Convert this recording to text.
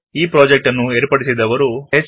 ಈ ಪ್ರಾಜೆಕ್ಟ್ ಅನ್ನು ಏರ್ಪಡಿಸಿದವರು httpspoken tutorialorg